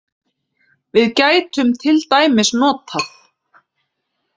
Við gætum til dæmis notað